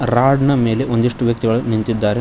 Rod ನ ಮೇಲೆ ಒಂದಿಷ್ಟು ವ್ಯಕ್ತಿಗಳು ನಿಂತಿದ್ದಾರೆ.